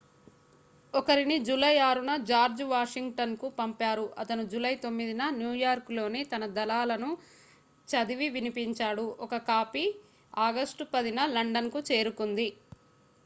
ఒకరిని జూలై 6న జార్జ్ వాషింగ్టన్కు పంపారు అతను జూలై 9న న్యూయార్క్లోని తన దళాలకు చదివి వినిపించాడు ఒక కాపీ ఆగస్టు 10న లండన్కు చేరుకుంది